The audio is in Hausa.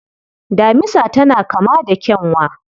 Damisa tana kama da kyanwa.